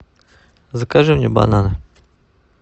закажи мне бананы